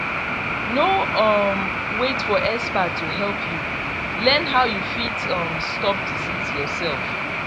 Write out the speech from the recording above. no um wait for expert to help you learn how you fit um stop disease yourself